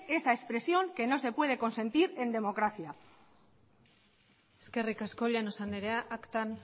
esa expresión que no se puede consentir en democracia eskerrik asko llanos andrea aktan